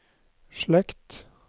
slekt